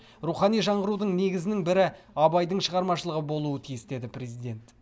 рухани жаңғырудың негізінің бірі абайдың шығармашылығы болуы тиіс деді президент